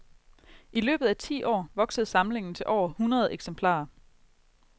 I løbet af ti år voksede samlingen til over hundrede eksemplarer.